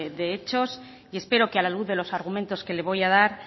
de hechos y espero que a la luz de los argumentos que le voy a dar